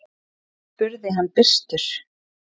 spurði hann byrstur.